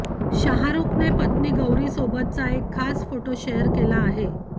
शाहरूखने पत्नी गौरीसोबतचा एक खास फोटो शेअर केला आहे